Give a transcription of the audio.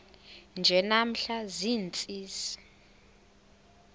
nje namhla ziintsizi